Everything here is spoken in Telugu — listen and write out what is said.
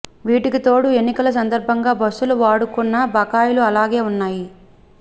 వీటికి తోడు ఎన్నికల సందర్భంగా బస్సులు వాడుకున్న బకాయిలు అలాగే ఉన్నాయి